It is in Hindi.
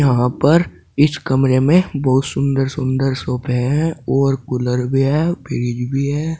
यहाँ पर इस कमरे में बहुत सुंदर सुंदर सोफे है और कूलर भी है फ्रिज भी है।